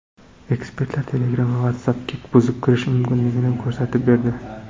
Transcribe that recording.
Ekspertlar Telegram va WhatsApp’ga buzib kirish mumkinligini ko‘rsatib berdi.